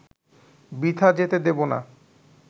বৃথা যেতে দেব না